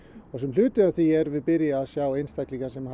hluti af því erum við byrjuð að sjá einstaklinga sem